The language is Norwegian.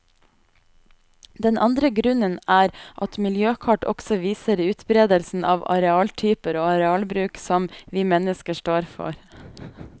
Den andre grunnen er at miljøkart også viser utberedelsen av arealtyper og arealbruk som vi mennesker står for.